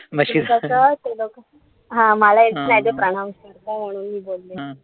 दुधाचं ते लोकं, हा मला pronounce करता येत नाई म्हणून मी बोलले नाई.